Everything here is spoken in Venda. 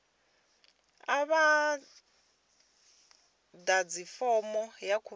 a vha ḓadzi fomo ya khumbelo